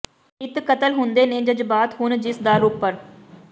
ਨਿੱਤ ਕਤਲ ਹੁੰਦੇ ਨੇ ਜਜਬਾਤ ਹੁਣ ਜਿਸ ਦਰ ਉਪਰ